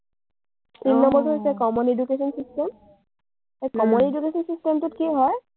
তিনি নম্বৰটো হৈছে common education system । এই common education system টোত কি হয়,